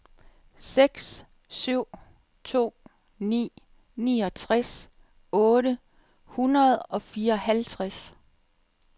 seks syv to ni niogtres otte hundrede og fireoghalvtreds